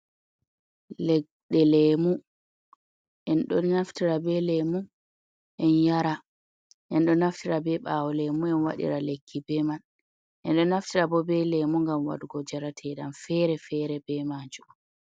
Leɗɗe lemu. En ɗon naftira be lemu en yara, en ɗo naftira be ɓaawo lemu en waɗira lekki be man, en ɗo naftira bo be lemu ngam waɗugo njarateɗam fere-fere be maajum.